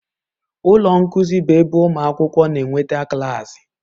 Ụlọ nkuzi bụ ebe ụmụ akwụkwọ na-enweta klaasị.